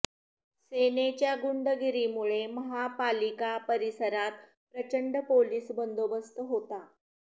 सेनेच्या गुंडगिरीमुळे महापालिका परिसरात प्रचंड पोलिस बंदोबस्त होता